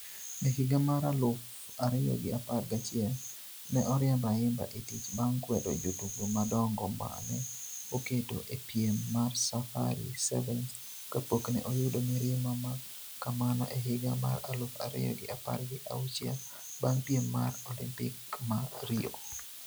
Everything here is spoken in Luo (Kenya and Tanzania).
E higa maraluf ariyo gi apar gachiel , ne oriemb Ayimba e tich bang' kwedo jotugo madongo ma ne oketo e piem mar Safari Sevens kapok ne oyudo mirima ma kamano e higa mar aluf ariyo gi apar gi auchiel bang' piem mar Olimpik ma Rio.